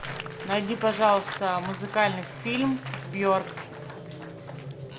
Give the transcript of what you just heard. найди пожалуйста музыкальный фильм с бьорк